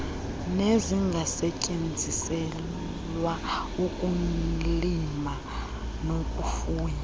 nezungasetyenziselwa ukulima nokufuya